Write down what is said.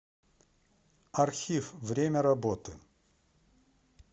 архив время работы